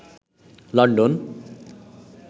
London